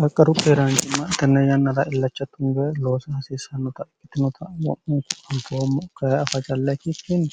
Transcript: qaqqaru keeraancimma tenne yannara illacha tunbe loosa haasiissannota ikkitinota ma'munku anteommo gay afajallekikinni